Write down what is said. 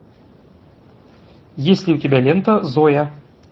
есть ли у тебя лента зоя